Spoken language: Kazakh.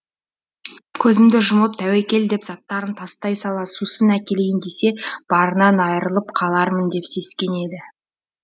көзді жұмып тәуекел деп заттарын тастай сала сусын әкелейін десе барынан айырылып қалармын деп сескенеді